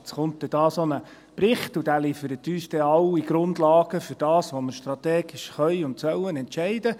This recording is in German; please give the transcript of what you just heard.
Jetzt kommt dann so ein Bericht und dieser liefert uns alle Grundlagen für das, was wir strategisch entscheiden sollen und können.